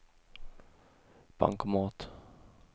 bankomat